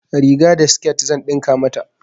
Riga da sket zan ɗinka mata.